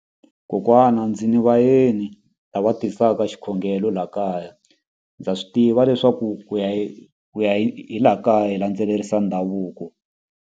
Kokwana ndzi ni vayeni lava tisaka xikhongelo laha kaya ndza swi tiva leswaku ku ya hi ku ya hi laha kaya hi landzelerisa ndhavuko.